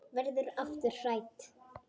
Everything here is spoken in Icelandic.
Verður aftur hrædd.